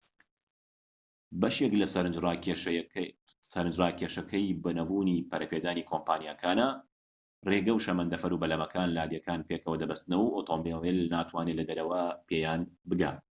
بەشێك لە سەرنجڕاکێشەیەکی نەبوونی پەرەپێدانی کۆمپانیاکانە ڕێگە و شەمەندەفەر و بەلەمەکان لادێکان پێکەوە دەبەستنەوە و ئۆتۆمبیل ناتوانێت لەدەرەوەوە پێیان بگات